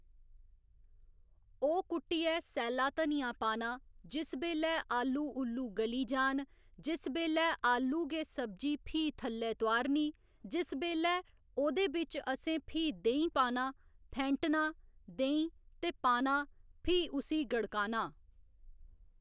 ओह् कुट्टियै सैल्ला धनियां पाना जिस बेल्लै आलू ऊल्लू गली जान जिस बेल्लै आलू गे सब्जी फ्ही थल्लै तोआ'रनी जिस बेल्लै ओह्दे बिच असें फ्ही देहीं पाना फैंटना देहीं ते पाना फ्ही उस्सी गड़काना